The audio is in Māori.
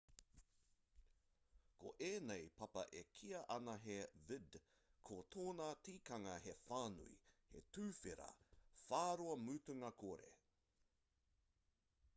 ko ēnei papa e kīa ana he vidde ko tōna tikanga he whānui he tuwhera whāroa mutunga kore